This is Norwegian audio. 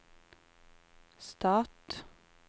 stat